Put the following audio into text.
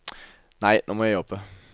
Nei, nå må jeg jobbe.